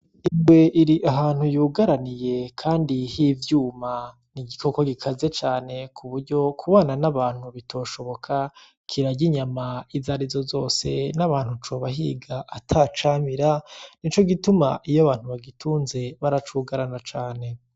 Ingwe iri ahantu yugaraniye kandi h'ivyuma n'igikoko gikaze cane kuburyo kubana n'abantu bitoshoboka kirarya inyama izarizo zose n'abantu cobahiga atacamira nico gituma iy’abantu bagitunze baracugarana cane.